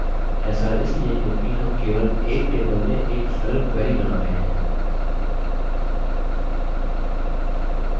ऐसा इसलिए क्योंकि हम केवल एक table से एक सरल query बना रहे हैं